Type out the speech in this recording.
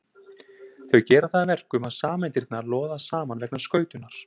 Þau gera það að verkum að sameindirnar loða saman vegna skautunar.